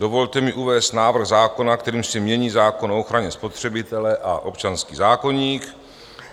Dovolte mi uvést návrh zákona, kterým se mění zákon o ochraně spotřebitele a občanský zákoník.